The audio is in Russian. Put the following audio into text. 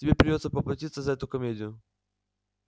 тебе придётся поплатиться за эту комедию